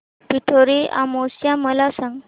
पिठोरी अमावस्या मला सांग